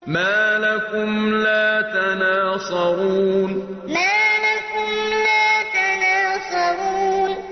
مَا لَكُمْ لَا تَنَاصَرُونَ مَا لَكُمْ لَا تَنَاصَرُونَ